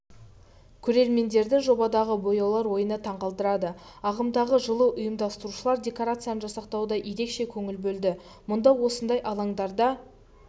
көрермендерді жобадағы бояулар ойыны таңғалдырады ағымдағы жылы ұйымдастырушылар декорацияны жасақтауға ерекше көңіл бөлді мұнда осындай алаңдарда